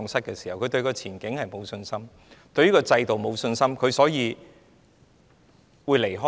他們對前景失去信心，對制度沒有信心，所以他們打算離開。